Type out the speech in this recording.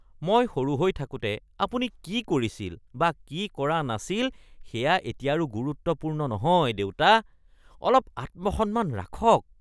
মই সৰু হৈ থাকোঁতে আপুনি কি কৰিছিল বা কি কৰা নাছিল সেয়া এতিয়া আৰু গুৰুত্বপূৰ্ণ নহয়, দেউতা। অলপ আত্মসন্মান ৰাখক! (পুত্ৰ)